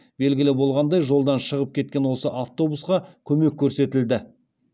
белгілі болғандай жолдан шығып кеткен осы автобусқа көмек көрсетілді